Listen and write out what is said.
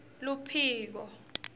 luphiko